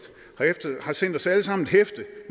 sendt os alle sammen et hæfte